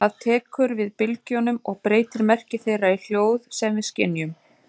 Það tekur við bylgjunum og breytir merki þeirra í hljóð sem við skynjum.